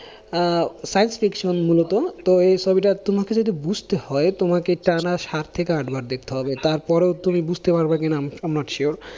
আহ science section মূলত তো এই ছবিটা তোমাকে যদি বুঝতে হয়, তোমাকে টানা সাত থেকে আটবার দেখতে হবে তারপরেও তুমি বুঝতে পারবা কি না I am not sure